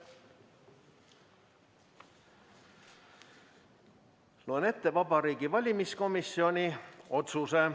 Loen ette Vabariigi Valimiskomisjoni otsuse.